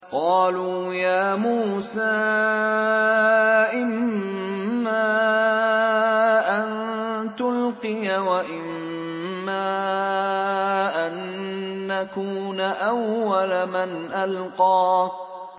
قَالُوا يَا مُوسَىٰ إِمَّا أَن تُلْقِيَ وَإِمَّا أَن نَّكُونَ أَوَّلَ مَنْ أَلْقَىٰ